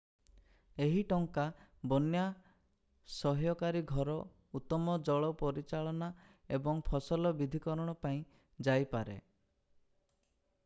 ଏହି ଟଙ୍କା ବନ୍ୟା-ସହ୍ୟକାରୀ ଘର ଉତ୍ତମ ଜଳ ପରିଚାଳନା ଏବଂ ଫସଲ ବିବିଧକରଣ ପାଇଁ ଯାଇପାରେ